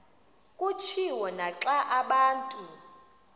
kutshiwo naxa abantu